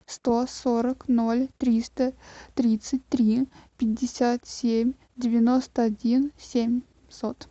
сто сорок ноль триста тридцать три пятьдесят семь девяносто один семьсот